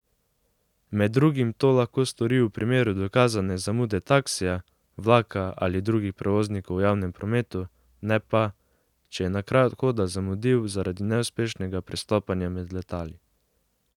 Med drugim to lahko stori v primeru dokazane zamude taksija, vlaka ali drugih prevoznikov v javnem prometu, ne pa, če je na kraj odhoda zamudil zaradi neuspešnega prestopanja med letali.